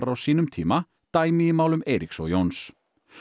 á sínum tíma dæmi í málum Eiríks og Jóns